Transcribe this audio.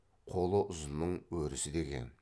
қолы ұзынның өрісі деген